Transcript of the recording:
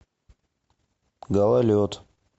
гололед